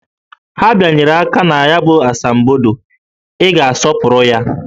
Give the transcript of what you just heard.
Ha bịanyere aka na ya asambodo, Ị ga-asọpụrụ ya!